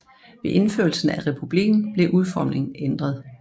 Ved indførelse af republikken blev udformingen ændret